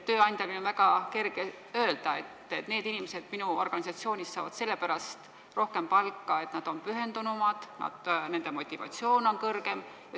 Tööandjal on väga kerge öelda, et need inimesed minu organisatsioonis saavad sellepärast rohkem palka, et nad on pühendunumad ja nende motivatsioon on kõrgem.